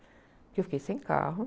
Porque eu fiquei sem carro.